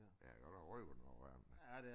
Ja det godt nok røg der kommer ud af den